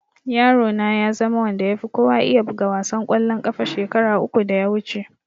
Yaro na ya zama wanda ya fi kowa iya buga wasan ƙwallon ƙafa shekara uku da ya wuce